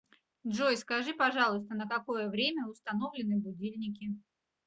джой скажи пожалуйста на какое время установлены будильники